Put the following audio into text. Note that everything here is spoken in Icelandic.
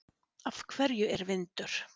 Af hverju er vindur?